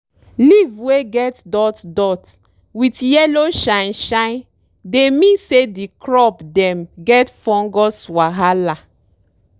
leave wey get dot dot wit yellow shine shine dey mean say di crop dem get fungus wahala.